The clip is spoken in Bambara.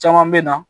Caman bɛ na